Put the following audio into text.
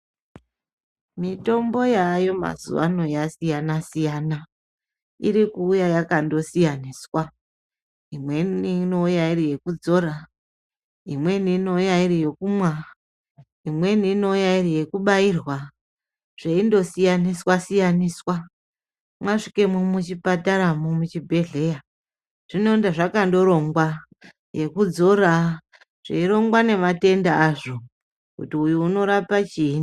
Mitombo yaayo mazuvaano yasiyana siyana. Irikuuya yakandosiyaniswa, imweni inouya iriyekudzora, imweni inouya iriyokumwa, imweni inouya iriyokubairwa, zveindosiyaniswa niswa. Masvikemo muchipataramo muchibhehleya zvinondazvakandorongwa, yekudzora zveirongwa nematenda azvo kuti uyu unorapa chii.